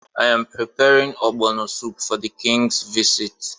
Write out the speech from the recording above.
I’m preparing Ogbono soup for the King’s visit.